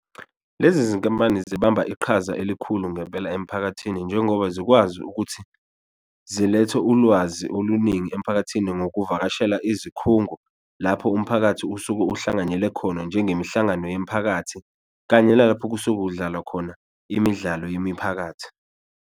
Lezi zinkampani zibamba iqhaza elikhulu ngempela emphakathini njengoba zikwazi ukuthi zilethe ulwazi oluningi emphakathini ngokuvakashela izikhungo lapho umphakathi usuke uhlanganyele khona, njengemihlangano yemiphakathi kanye nalapho okusuke kudlalwa khona imidlalo yemiphakathi.